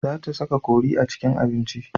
Za ta saka kori a cikin abinci.